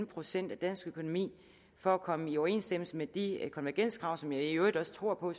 procent på dansk økonomi for at komme i overensstemmelse med de konvergenskrav som jeg i øvrigt også tror på